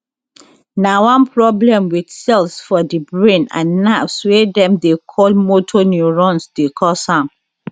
na one problem wit cells for di brain and nerves wey dem dey call motor neurones dey cause am